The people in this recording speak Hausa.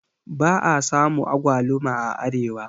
ba a samu agwaluma a Arewa